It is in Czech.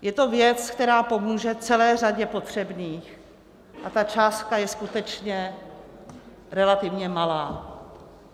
Je to věc, která pomůže celé řadě potřebných, a ta částka je skutečně relativně malá.